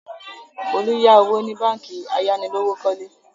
Folú yá owó ní báńkì ayánilówókọ́lé.